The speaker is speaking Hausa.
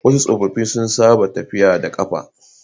wasu tsofaffi sun saba tafiya da kafa